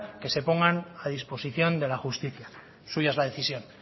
que se pongan a disposición de la justicia suya es la decisión